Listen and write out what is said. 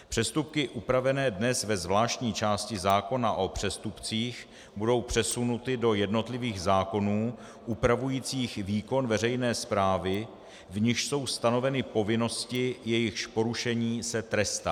Přestupky upravené dnes ve zvláštní části zákona o přestupcích budou přesunuty do jednotlivých zákonů upravujících výkon veřejné správy, v nichž jsou stanoveny povinnosti, jejichž porušení se trestá.